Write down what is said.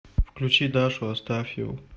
включи дашу астафьеву